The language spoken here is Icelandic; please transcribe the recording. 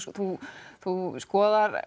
þú þú skoðar